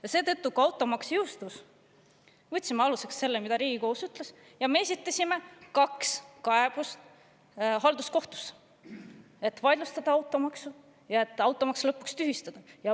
Ja seetõttu, kui automaks jõustus, me võtsime aluseks selle, mida Riigikohus oli öelnud, ja esitasime kaks kaebust halduskohtusse, et automaks vaidlustada ja see tühistada.